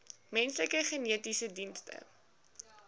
menslike genetiese dienste